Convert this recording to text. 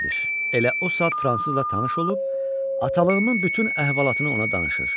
Elə o saat fransızla tanış olub, atalığımın bütün əhvalatını ona danışır.